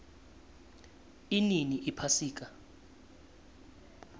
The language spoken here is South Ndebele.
inini iphasika